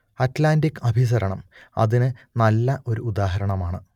Atlantic അഭിസരണം അതിന് നല്ല ഒരു ഉദാഹരണമാണ്